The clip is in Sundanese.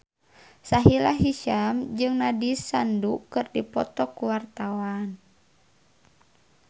Sahila Hisyam jeung Nandish Sandhu keur dipoto ku wartawan